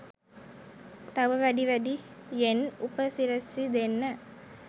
තව වැඩි වැඩියෙන්උපසි‍රැසි දෙන්න